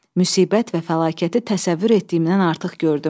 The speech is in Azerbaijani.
Müsibət və fəlakəti təsəvvür etdiyimdən artıq gördüm.